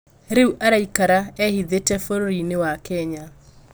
rĩu araikara ehithĩte bũrũri-inĩ wa Kenya